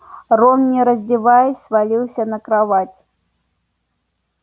рон не раздеваясь свалился на кровать